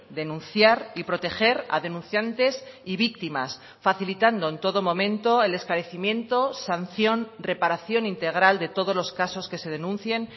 denunciar y proteger a denunciantes y víctimas facilitando en todo momento el esclarecimiento sanción reparación integral de todos los casos que se denuncien